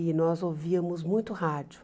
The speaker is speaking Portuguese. E nós ouvíamos muito rádio.